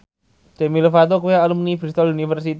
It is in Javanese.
Demi Lovato kuwi alumni Bristol university